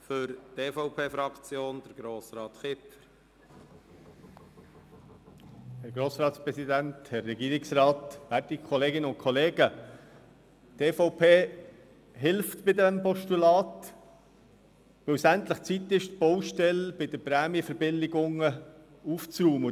Die EVP-Fraktion hilft bei diesem Postulat, weil es endlich Zeit ist, die Baustelle bei den Prämienverbilligungen aufzuräumen.